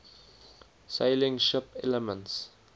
sailing ship elements